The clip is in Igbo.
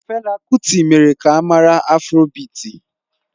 Fela kuti mere ka a mara afrobịti